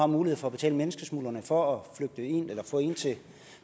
mulighed for at betale menneskesmuglerne for at